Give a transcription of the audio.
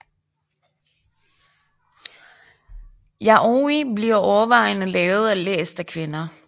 Yaoi bliver overvejende lavet og læst af kvinder